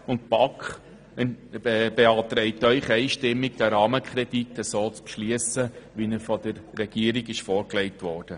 Die BaK beantragt Ihnen einstimmig, den Rahmenkredit so zu beschliessen, wie er von der Regierung vorgelegt wurde.